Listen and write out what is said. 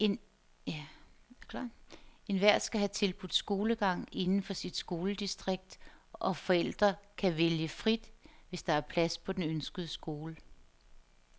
Enhver skal have tilbudt skolegang inden for sit skoledistrikt, og forældre kan vælge frit, hvis der er plads på den ønskede skole.